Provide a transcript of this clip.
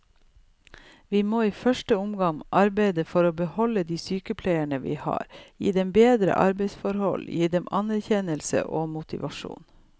Vi må i første omgang arbeide for å beholde de sykepleierne vi har, gi dem bedre arbeidsforhold, gi dem anerkjennelse og motivasjon.